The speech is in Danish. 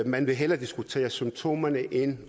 man vil hellere diskutere symptomerne end